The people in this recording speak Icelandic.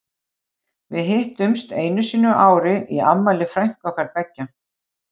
Við hittumst einu sinni á ári í afmæli frænku okkar beggja.